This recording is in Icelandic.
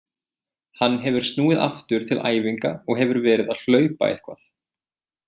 Hann hefur snúið aftur til æfinga og hefur verið að hlaupa eitthvað.